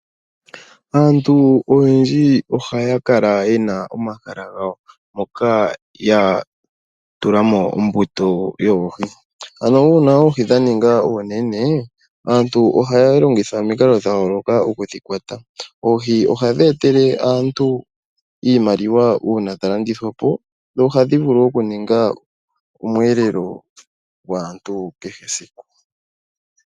Aantu oyendji ohaya kala yena omahala gawo moka ya tulamo ombuto yoohi ano uuna oohi dha ninga oonene aantu ohaya longitha omikalo okudhikwata. Oohi ohadhi etele aantu iimaliwa uuna dha landithwapo dho ohadhi vulu oku ninga omweelelo gwaantu kehe esiku.